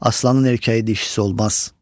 Aslanın erkəyi dişisi olmaz.